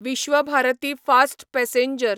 Vishwabharati fast passenger